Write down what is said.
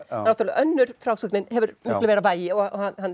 náttúrulega önnur frásögnin hefur miklu meira vægi og